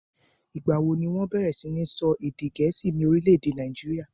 ìgbà wo ni wọ́n bẹ̀rẹ̀ sí ni sọ èdè Gẹ̀ẹ́sì ní orílè-èdè nàìjíríà?